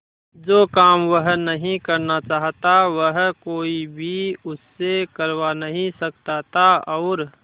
जो काम वह नहीं करना चाहता वह कोई भी उससे करवा नहीं सकता था और